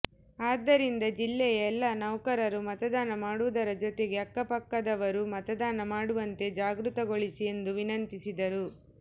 ಆದ್ದರಿಂದ ಜಿಲ್ಲೆಯ ಎಲ್ಲಾ ನೌಕರರು ಮತದಾನ ಮಾಡುವುದರ ಜೊತೆಗೆ ಅಕ್ಕಪಕ್ಕದವರು ಮತದಾನ ಮಾಡುವಂತೆ ಜಾಗೃತಿಗೊಳಿಸಿ ಎಂದು ವಿನಂತಿಸಿದರು